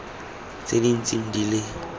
tse di ntseng di le